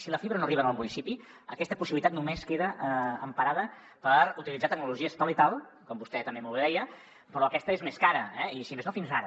si la fibra no arriba al municipi aquesta possibilitat només queda emparada per utilitzar tecnologia tal i tal com vostè també molt bé deia però aquesta és més cara eh si més no fins ara